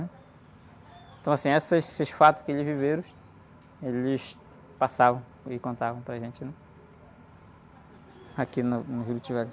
Então assim, essas, esses fatos que eles viveram, eles passavam e contavam para a gente aqui no, no Juruti Velho.